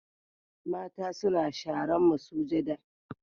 Mata suna sharan masujada.